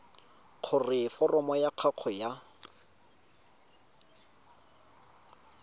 gore foromo ya gago ya